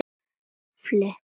með hartnær unnu tafli.